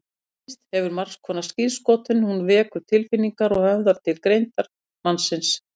Tónlist hefur margskonar skírskotun, hún vekur tilfinningar og höfðar til greindar mannsins.